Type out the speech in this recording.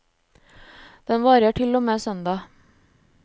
Den varer til og med søndag.